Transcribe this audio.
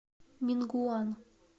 мингуан